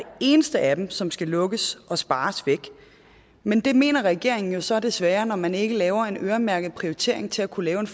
eneste af dem som skal lukkes og spares væk men det mener regeringen jo så desværre når man ikke laver en øremærket prioritering til at kunne lave